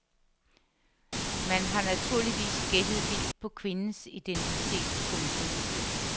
Man har naturligvis gættet vildt på kvindens identitet. punktum